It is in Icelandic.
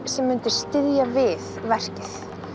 sem myndi styðja við verkið